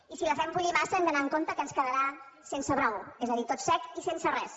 i si la fem bullir massa hem d’anar amb compte que ens quedarà sense brou és a dir tot sec i sense res